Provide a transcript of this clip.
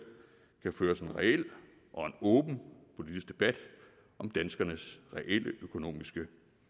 kan føres en reel og en åben politisk debat om danskernes reelle økonomiske